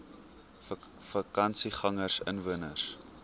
vakansiegangersinwoners